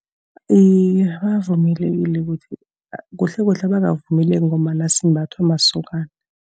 Iye, bavumelekile ukuthi, kuhlekuhle abakavumeleki ngombana simbathwa masokana.